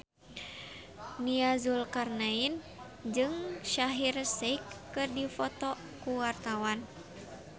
Nia Zulkarnaen jeung Shaheer Sheikh keur dipoto ku wartawan